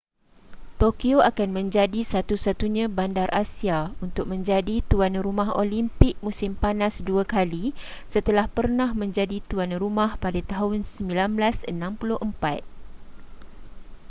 tokyo akan menjadi satu-satunya bandar asia untuk menjadi tuan rumah olimpik musim panas dua kali setelah pernah menjadi tuan rumah pada tahun 1964